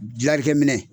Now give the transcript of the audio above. Dilalikɛ minɛ